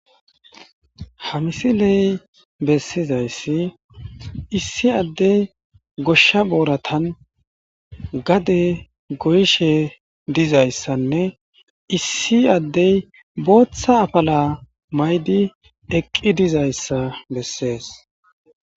Hamisi ley bessizayssi issi addey goshsha booratan gade goyshe dizayssanne issi addey booththa afala maydi eqqi dizayssa bessees